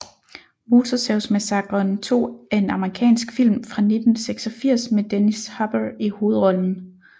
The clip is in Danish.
Motorsavsmassakren 2 er en amerikansk film fra 1986 med Dennis Hopper i hovedrollen